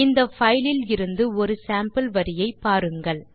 இந்த பைல் லில் இருந்து ஒரு சேம்பிள் வரியை பாருங்கள்